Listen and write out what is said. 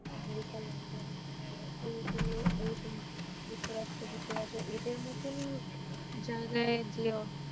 American London এগুলো এরকম যুক্তরাষ্ট্র যুক্তরাজ্য এদের মধ্যে একদম